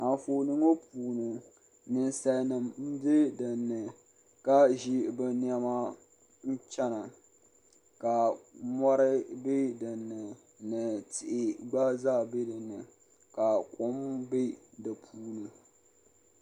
Anfooni ŋɔ puuni ninsalnim bɛ dinni ka ʒi bɛ nɛma n chana ka mɔri bɛ dinni ni tihi gba zaa bɛ dinni ka kom bɛ dipuuni.